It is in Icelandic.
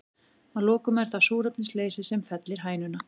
Að lokum er það súrefnisleysi sem fellir hænuna.